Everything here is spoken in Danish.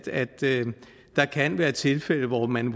der kan være tilfælde hvor man